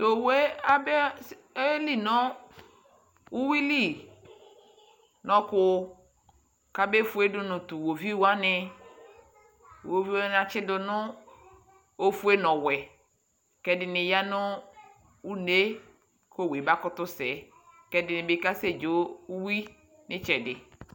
tʋ ɔwɔɛ aba ɔyɛli nʋ ʋwili nʋ ɔkʋ kʋ abɛ ƒʋɛ dʋnʋ tʋ iwɔviʋ wani, iwɔviʋ wani atsidʋ nʋ ɔƒʋɛ nʋ ɔwɛ, kʋ ɛdini yanʋ ʋnɛ kʋ ɔwʋɛ bakʋtʋ sɛ kʋ ɛdini bi.kasɛ kʋ ɛdini bi kasɛ dzɔ ʋwii.